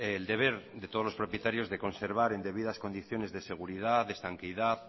el deber de todos los propietarios de conservar en debidas condiciones de seguridad de estanqueidad